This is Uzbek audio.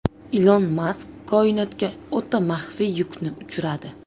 Ilon Mask koinotga o‘ta maxfiy yukni uchiradi.